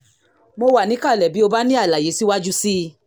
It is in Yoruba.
mo wà níkàlẹ̀ bí o bá ní àlàyé síwájú sí i